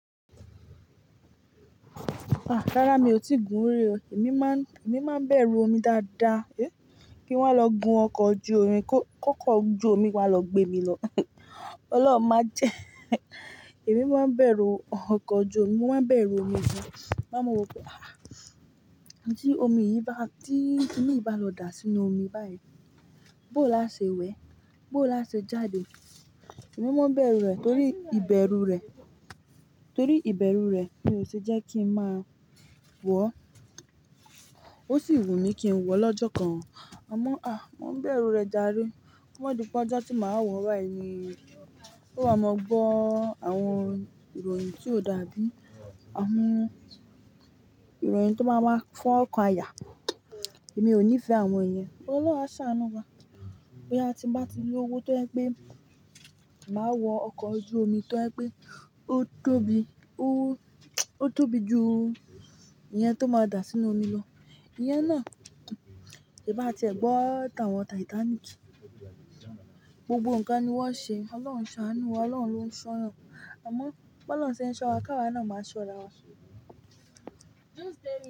Rárá mi ò tíì gun orí o. Èmi máa ń, èmi máa ń bẹ̀rù omi dáadáa. Hé! Kí n wá lọ gun ọkọ̀ ojú omi, kó kọ́kọ́ ojú omi wá lọ gbé mi lọ. Ọlọ́run máa jẹ. Èmi máa ń bẹ̀rù ọkọ̀ ojú omi, mo máa ń bẹ̀rù omi gan máa mọ̀ wípé, ah! Tí omi yìí bá, tí ki ni yi bá lọ dà sínú omi báyìí, bó là ṣe wẹ̀? Bó là ṣe jáde? Èmi máa ń bẹ̀rù rẹ̀ torí ìbẹ̀rù rẹ̀, torí ìbẹ̀rù rẹ̀ mi ò ṣe jẹ́ kí n máa wọ̀. Ó sì wù mí kí n wọ̀ lọ́jọ́ kan. A mọ̀, à! Mo ń bẹ̀rù rẹ̀ ja rè ko ma di pè ojo tí màá wọ̀ báyìí ni, ó máa mọ gbọ́ àwọn ìròyìn tí ó dàbí àwọn ìròyìn tó máa ń wá fún ọkọ̀ àyà. Èmi ò nífẹ̀ẹ́ àwọn èèyàn. Ọlọ́run á ṣàánú wa. Bo yà a ti ń bá ti lowó tó jẹ pé màá wọ ọkọ̀ ojú omi tó jẹ pé ó tóbi, ó, ó tóbi ju ìyẹn tó máa dà sínú omi lọ. Ìyẹn náà, sè bá ti ẹ gbọ́ tàn àwọn Titanic, gbogbo nǹkan ni wọ́n ṣe. Ọlọ́run ṣe àánú wa, Ọlọ́run ló ń ṣọ́yan. Àmọ́ bó ló ń ṣe so wa, ká wa na ó máa ṣọ́ra wa.